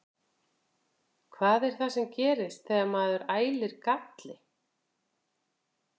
Hvað er það sem gerist þegar maður ælir galli?